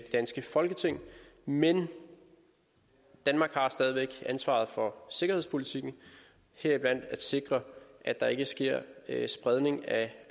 danske folketing men danmark har stadig væk ansvaret for sikkerhedspolitikken heriblandt at sikre at der ikke sker spredning af